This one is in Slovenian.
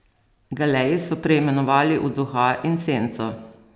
Galeji so preimenovali v Duha in Senco.